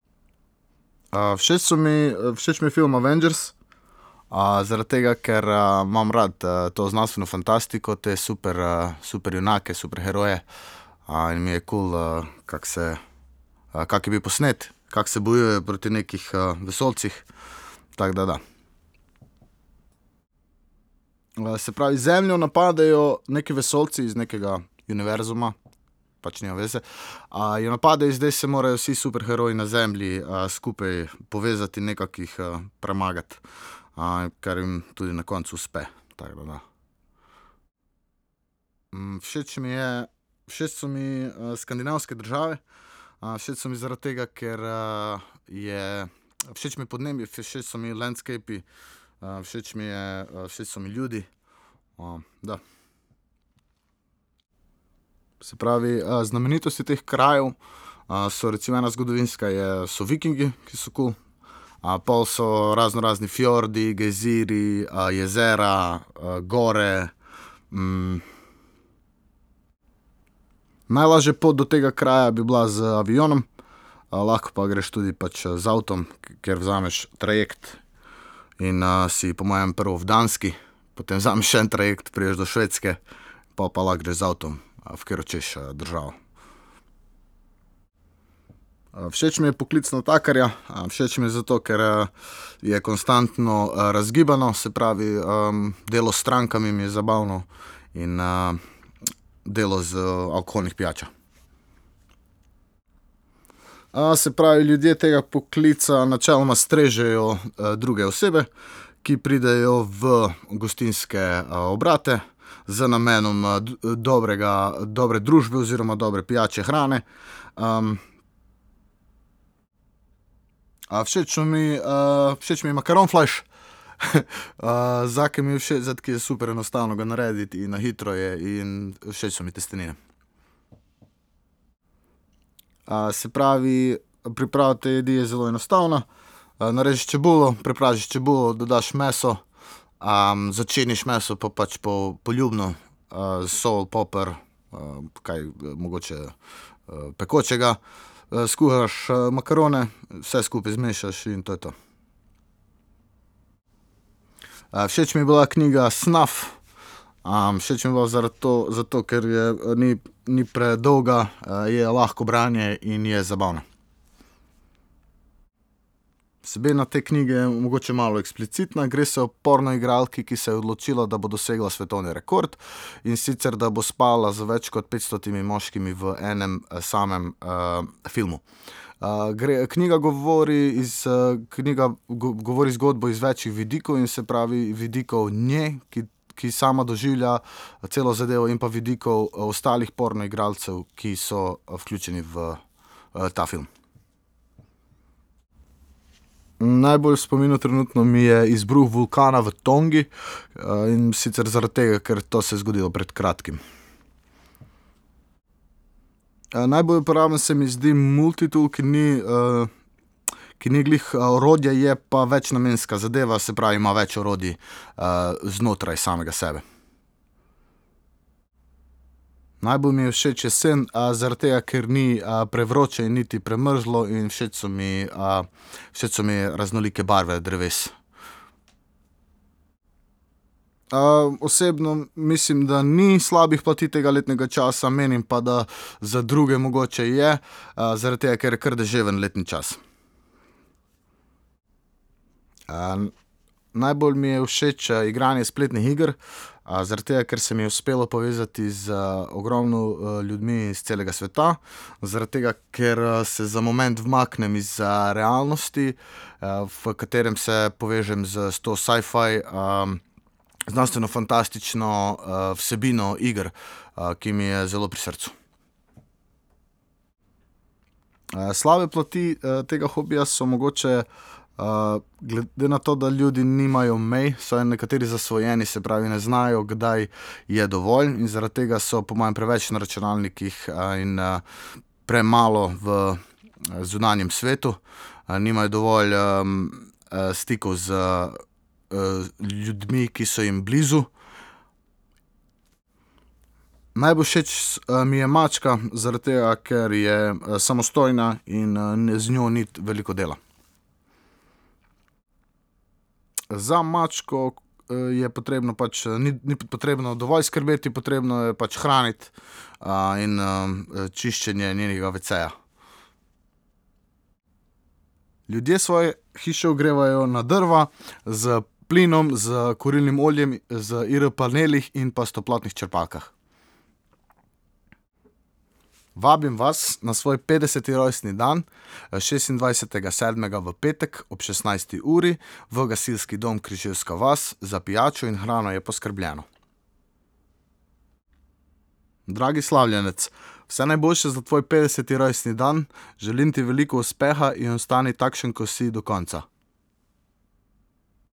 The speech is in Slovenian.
všeč so mi, všeč mi je film Avengers, zaradi tega, ker, imam rad, to znanstveno fantastiko, te super, superjunake, superheroje. in mi je kul, kako se, kako je bil posnet, kako se bojujejo proti nekih, vesoljcih. Tako da da. se pravi, Zemljo napadejo neki vesoljci iz nekega univerzuma, pač nima veze. jo napadejo in zdaj se morajo vsi superheroji na Zemlji, skupaj povezati in nekako jih premagati. kar jim tudi na koncu uspe. Tako da da. všeč mi je, všeč so mi, skandinavske države. všeč so mi zaradi tega, ker, je, všeč mi je podnebje, všeč so mi landscapi, všeč mi je, všeč so mi ljudi. da. Se pravi, znamenitosti teh krajev, so recimo, ena zgodovinska je, so Vikingi, ki so kul, pol so raznorazni fjordi, gejzirji, jezera, gor, Najlažja pot do tega kraja bi bila z avionom, lahko pa greš tudi pač z avtom, ker vzameš trajekt in, si po mojem prvo v Danski, potem vzameš še en trajekt, prideš do Švedske, pol pa lahko greš z avtom, v katero hočeš, državo. všeč mi je poklic natakarja. všeč mi je zato, ker, je konstantno, razgibano, se pravi, delo s strankami mi je zabavno in, delo z alkoholnimi pijačami. se pravi, ljudje tega poklica načeloma strežejo, druge osebe, ki pridejo v gostinske, obrate z namenom, dobrega, dobre družbe oziroma dobre pijače, hrane. všeč so mi, všeč mi je makaronflajš. zakaj mi je všeč? Zato, ker je super enostavno ga narediti in na hitro je in všeč so mi testenine. se pravi, priprava te jedi je zelo enostavna. narežeš čebulo, prepražiš čebulo, dodaš meso, začiniš meso pač poljubno. sol, poper, kaj, mogoče, pekočega. skuhaš, makarone, vse skupaj zmešaš in to je to. všeč mi je bila knjiga Snuff. všeč mi je bila zaradi to, zato, ker je, ni, ni predolga, je lahko branje in je zabavna. Vsebina te knjige je mogoče malo eksplicitna. Gre se o pornoigralki, ki se je odločila, da bo dosegla svetovni rekord, in sicer, da bo spala z več kot petstotimi moškimi v enem samem, filmu. gre, knjiga govori iz, knjiga govori zgodbo iz več vidikov in se pravi vidikov nje, ki, ki sama doživlja celo zadevo, in pa vidikov ostalih pornoigralcev, ki so, vključeni v, ta film. Najbolj v spominu trenutno mi je izbruh vulkana v Tongi. in sicer zaradi tega, ker to se je zgodilo pred kratkim. najbolj uporaben se mi zdi multitool, ki ni, ki ni glih, orodje, je pa večnamenska zadeva, se pravi, ima več orodij, znotraj samega sebe. Najbolj mi je všeč jesen, zaradi tega ker ni, prevroče in niti premrzlo in všeč so mi, všeč so mi raznolike barve dreves. osebno mislim, da ni slabih plati tega letnega časa, menim pa, da za druge mogoče je, zaradi tega, ker je kar deževen letni čas. najbolj mi je všeč, igranje spletnih iger, zaradi tega, ker se mi je uspelo povezati z ogromno, ljudmi iz celega sveta, zaradi tega ker, se za moment umaknem iz, realnosti, v katerem se povežm s, s to sci-fi, znanstvenofantastično, vsebino iger, ki mi je zelo pri srcu. slabe plati, tega hobija so mogoče, glede na to, da ljudi nimajo mi, so nekateri zasvojeni, se pravi, ne znajo, kdaj je dovolj, in zaradi tega so po mojem preveč na računalnikih, in, premalo v zunanjem svetu. nimajo dovolj, stikov z, ljudmi, ki so jim blizu. Najbolj všeč mi je mačka, zaradi tega, ker je samostojna in, z njo ni veliko dela. Za mačko, je potrebno, pač ni potrebno dovolj skrbeti, potrebno jo je pač hraniti, in, čiščenje njenega veceja. Ljudje svoje hiše ogrevajo na drva, s plinom, s kurilnim oljem, z IR-paneli in pa s toplotnimi črpalkami. Vabim vas na svoj petdeseti rojstni dan, šestindvajsetega sedmega v petek ob šestnajsti uri v gasilski dom Križevska vas. Za pijačo in hrano je poskrbljeno. Dragi slavljenec, vse najboljše za tvoj petdeseti rojstni dan. Želim ti veliko uspeha in ostani takšen, ko si, do konca.